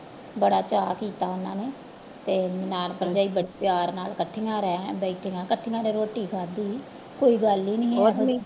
ਬੜਾ ਚਾਅ ਕੀਤਾ ਉਹਨਾਂ ਨੇ ਤੇ ਨਨਾਣ ਭਰਜਾਈ ਪ ਪਿਆਰ ਨਾਲ ਇਕੱਠੀਆਂ ਰਹਿ ਬੈਠੀਆਂ ਇਕੱਠੀਆਂ ਨੇ ਰੋਟੀ ਖਾਧੀ ਕੋਈ ਗੱਲ ਹੀ ਨੀ